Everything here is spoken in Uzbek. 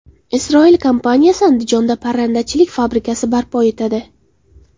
Isroil kompaniyasi Andijonda parrandachilik fabrikasi barpo etadi.